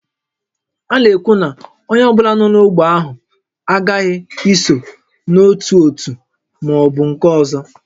A na-ekwu na onye ọ bụla nọ n'ógbè ahụ aghaghị iso n'otu òtù ma ọ bụ nke ọzọ